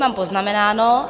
Mám poznamenáno.